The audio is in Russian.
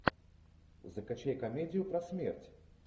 закачай комедию про смерть